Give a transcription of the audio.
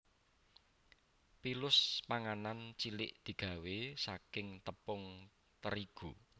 Pilus panganan cilik digawé saking tepung terigu